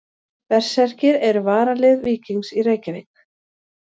Berserkir eru varalið Víkings í Reykjavík.